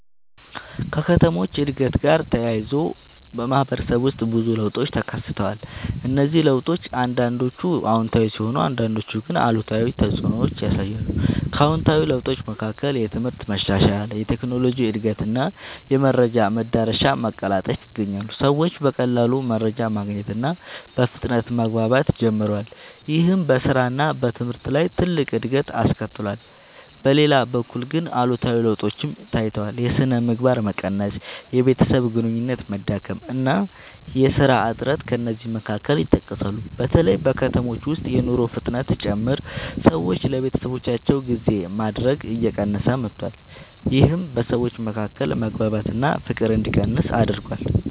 ከከተሞች እድገት ጋር ተያይዞ በማህበረሰብ ውስጥ ብዙ ለውጦች ተከስተዋል። እነዚህ ለውጦች አንዳንዶቹ አዎንታዊ ሲሆኑ አንዳንዶቹ ግን አሉታዊ ተፅዕኖ ያሳያሉ። ከአዎንታዊ ለውጦች መካከል የትምህርት መሻሻል፣ የቴክኖሎጂ እድገት እና የመረጃ መዳረሻ መቀላጠፍ ይገኛሉ። ሰዎች በቀላሉ መረጃ ማግኘት እና በፍጥነት መግባባት ጀምረዋል። ይህም በስራ እና በትምህርት ላይ ትልቅ እድገት አስከትሏል። በሌላ በኩል ግን አሉታዊ ለውጦችም ታይተዋል። የሥነ ምግባር መቀነስ፣ የቤተሰብ ግንኙነት መዳከም እና የሥራ እጥረት ከእነዚህ መካከል ይጠቀሳሉ። በተለይ በከተሞች ውስጥ የኑሮ ፍጥነት ሲጨምር ሰዎች ለቤተሰባቸው ጊዜ ማድረግ እየቀነሰ መጥቷል። ይህም በሰዎች መካከል መግባባት እና ፍቅር እንዲቀንስ አድርጓል።